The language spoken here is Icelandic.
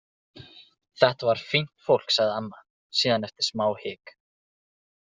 Þetta var fínt fólk, sagði amma síðan eftir smá hik.